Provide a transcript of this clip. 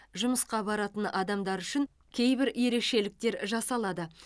жұмысқа баратын адамдар үшін кейбір ерекшеліктер жасалады